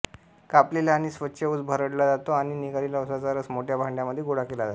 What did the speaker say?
कापलेला आणि स्वच्छ ऊस भरडला जातो आणि निघालेला ऊसाचा रस मोठ्या भांड्यामध्ये गोळा केला जातो